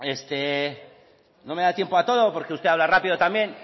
no me da tiempo a todo porque usted habla rápido también